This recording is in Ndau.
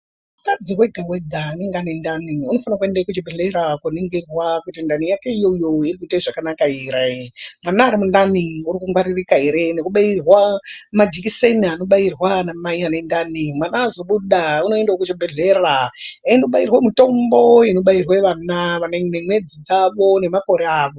Mwedzi wega wega, anenge ane ntani anofanire kuenda kuchibhedhlera kunoningirwa kuti ntani yake iyoyo iri kuite zvakanaka here. Vana vane ntani vari kungwaririka here ngekubayirirwe majikiseni anobayirwa ana mai ane ntani. Mwana azobuda anoendewo kuchibhedhlera ondobayirwe mitombo inobayirwe vana maringe nemwedzi dzavo nemakore avo.